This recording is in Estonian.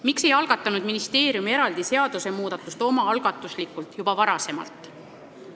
Miks ei algatanud ministeerium eraldi seadusmuudatust juba varem?